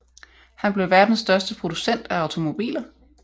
Han blev verdens største producent af automobiler